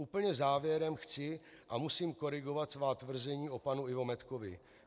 Úplně závěrem chci a musím korigovat svá tvrzení o panu Ivo Medkovi.